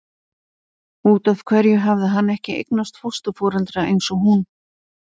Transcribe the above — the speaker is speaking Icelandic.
Út af hverju hafði hann ekki eignast fósturforeldra eins og hún?